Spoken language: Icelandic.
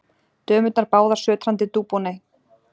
Dömurnar báðar sötrandi Dubonnet.